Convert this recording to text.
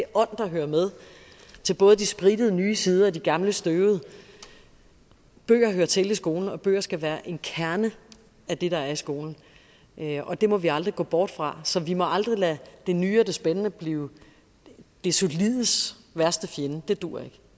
ånd der hører med til både de sprittede nye sider og de gamle støvede bøger hører til i skolen og bøger skal være en kerne af det der er i skolen og det må vi aldrig gå bort fra så vi må aldrig lade det nye og det spændende blive det solides værste fjende for det duer ikke